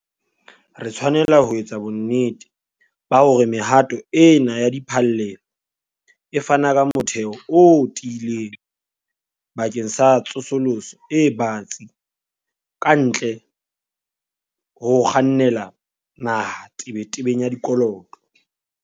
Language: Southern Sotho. Re tshwanela ho etsa bonnete ba hore mehato ena ya diphallelo e fana ka motheo o tiileng bakeng sa tsosoloso e batsi kantle ho ho kgannela naha tebetebeng ya dikoloto.